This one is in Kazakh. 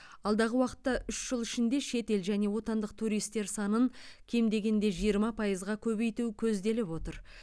алдағы уақытта үш жыл ішінде шет ел және отандық туристер санын кем дегенде жиырма пайызға көбейту көзделіп отыр